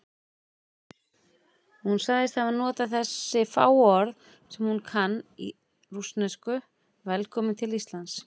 Hún sagðist hafa notað þessi fáu orð sem hún kann í rússnesku: Velkominn til Íslands.